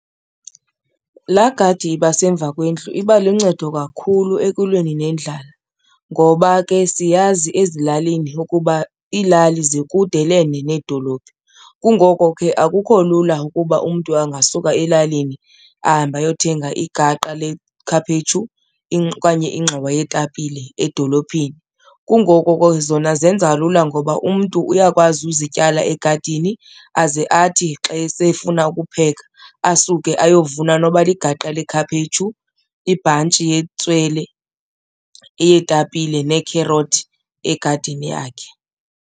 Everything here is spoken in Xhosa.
Laa gadi iba semva kwendlu iba luncedo kakhulu ekulweni nendlala ngoba ke siyazi ezilalini ukuba iilali zikudelene needolophu kungoko ke akukho lula ukuba umntu angasuka elalini ahambe ayothenga igaqa lekhaphetshu okanye ingxowa yeetapile edolophini. Kungoko ke zona zenza lula ngoba umntu uyakwazi uzityala egadini aze athi xa esefuna ukupheka asuke ayovuna noba ligaqa lekhaphetshu, ibhantshi yetswele, eyeetapile neekherothi egadini yakhe.